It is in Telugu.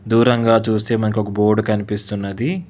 దూరం గా చూస్తే మనకు ఒక బోర్డు కనిపిస్తున్నది.